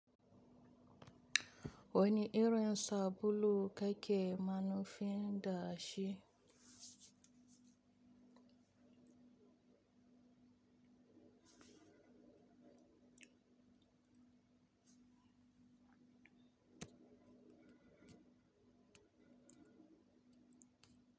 Wani irin sabulu kake manufi da shi?